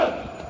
Hopp!